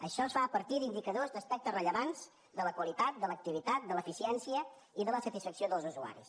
això es fa a partir d’indicadors d’aspectes rellevants de la qualitat de l’activitat de l’eficiència i de la satisfacció dels usuaris